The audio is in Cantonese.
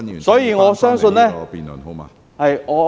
所以，我相信......